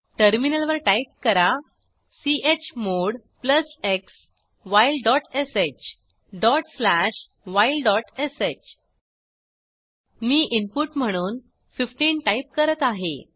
टर्मिनलवर टाईप करा chmod x whileश whilesh मी इनपुट म्हणून 15 टाईप करत आहे